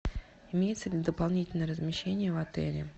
имеется ли дополнительное размещение в отеле